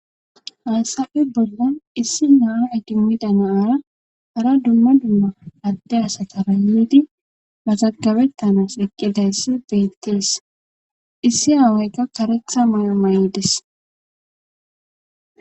haassafe bollan issi naa idimmida naaara hara dumma dumma adde asatara yiidi mazagabettanas eqqidayssi beettees issi aaweykka karetha may7o may7des